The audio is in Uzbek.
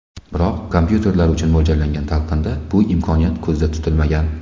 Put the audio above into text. Biroq kompyuterlar uchun mo‘ljallangan talqinda bu imkoniyat ko‘zda tutilmagan.